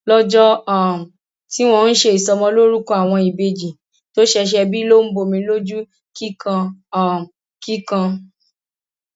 lọjọ um tí wọn ń ṣe ìsọmọlórúkọ àwọn ìbejì tó ṣẹṣẹ bí ló ń bọmi lójú kíkan um kíkan